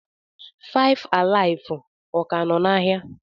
FiveAlive, ọ ka nọ n'ahịa?